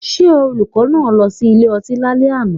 Did the teacher go to the bar last night